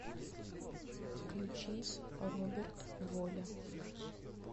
включи роберт воля